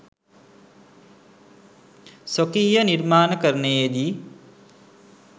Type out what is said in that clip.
ස්වකීය නිර්මාණකරණයේ දී